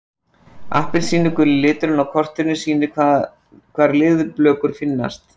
Appelsínuguli liturinn á kortinu sýnir hvar leðurblökur finnast.